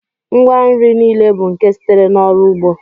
Ngwa nri niile bụ nke sitere n'ọrụ ugbo